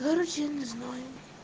короче я не знаю